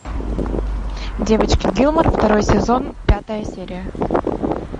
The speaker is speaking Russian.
девочки гилмор второй сезон пятая серия